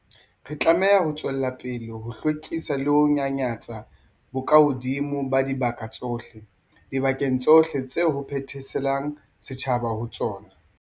Re tlameha ho tswela pele ho hlwekisa le ho nyanyatsa bokahodimo ba dibaka tsohle, dibakeng tsohle tseo ho phetheselang setjhaba ho tsona.